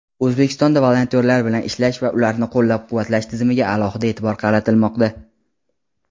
O‘zbekistonda volontyorlar bilan ishlash va ularni qo‘llab-quvvatlash tizimiga alohida e’tibor qaratilmoqda.